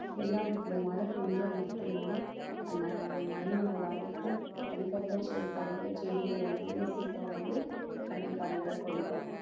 எல்லாம் இந்த மழை பெய்தால் மட்டும்தான் அந்த மண்ணும் நல்லாயிருக்கும் அதுக்கப்புறம் தழைக்குற செடிகள் எல்லாமே சீக்கிரம் வந்து கனி காய்களை கொடுக்கும்